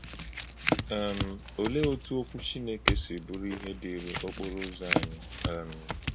um Ọ̀lee otú Okwu Chineke si bụrụ ìhè dịịrị́ okporo ụzọ̀ anyị? um